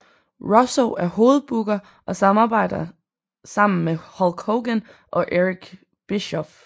Russo er hovedbooker og samarbejder sammen med Hulk Hogan og Eric Bischoff